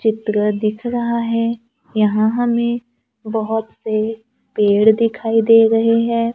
चित्र दिख रहा है यहां हमें बहोत से पेड़ दिखाई दे रहे हैं।